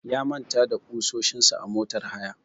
Ya manta da ƙusoshin sa a motar haya.